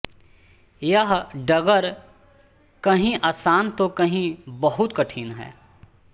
यह डगर कहीं आसान तो कहीं बहुत कठिन है